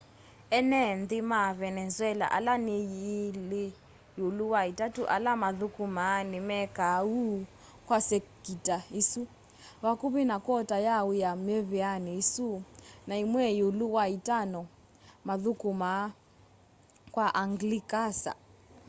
ene nthi ma venenzuela ala ni ilí íúlú wa itatu ala mathukumaa nimekaa úu kwa sekita isu vakuvi na kwota ya wía miveani isu na imwe íúlú wa itano mathukumaa kwa anglikasa